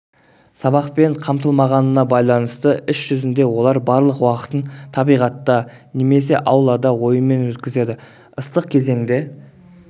сабақпен қамтылмағандығына байланысты іс жүзінде олар барлық уақытын табиғатта немесе аулада ойынмен өткізеді ыстық кезеңде